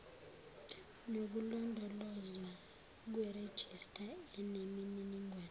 nokulondolozwa kwerejista enemininingo